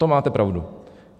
To máte pravdu.